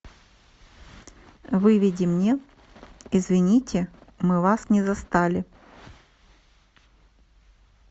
выведи мне извините мы вас не застали